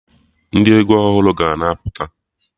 Ndị egwu ọhụrụ ga na-apụta